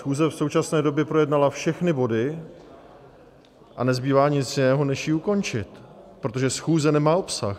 Schůze v současné době projednala všechny body a nezbývá nic jiného než ji ukončit, protože schůze nemá obsah.